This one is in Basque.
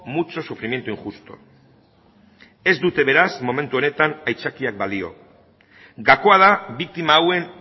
mucho sufrimiento injusto ez dute beraz momentu honetan aitzakiak balio gakoa da biktima hauen